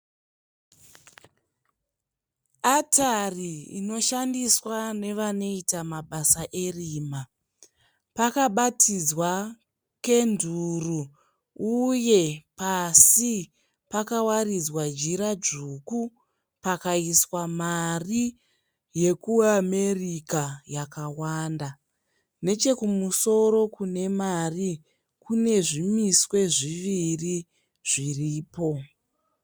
Atari inoshandiswa nevanoita mabasa erima. Pakabatidzwa kenduru uye pasi pakawaridzwa jira dzvuku pakaiswa mari yekuAmerica yakawanda. Nechekusoro kune mari kune zvimiswe zviviri zviripo.